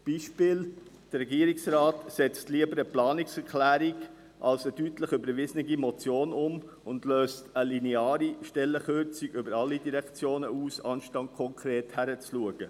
Ein Beispiel: Der Regierungsrat setzt lieber eine Planungserklärung als eine deutlich überwiesene Motion um und löst eine lineare Stellenkürzung über alle Direktionen aus, anstatt konkret hinzuschauen.